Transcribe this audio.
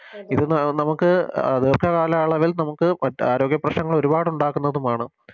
ഇത് ന നമുക്ക് ദീർഘകാലയളവിൽ നമുക്ക് മറ്റ് ആരോഗ്യപ്രശ്നങ്ങൾ ഒരുപാടുണ്ടാക്കുന്നതുമാണ്